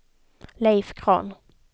Leif Grahn